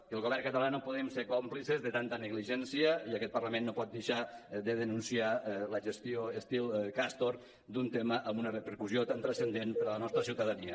que el govern català no podem ser còmplices de tanta negligència i aquest parlament no pot deixar de denunciar la gestió estil castor d’un tema amb una repercussió tan transcendent per a la nostra ciutadania